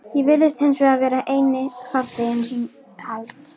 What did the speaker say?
Ég virðist hinsvegar vera eini farþeginn sem hald